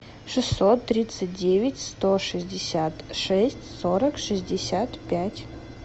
шестьсот тридцать девять сто шестьдесят шесть сорок шестьдесят пять